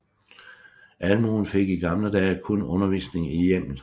Almuen fik i gamle dage kun undervisning i hjemmet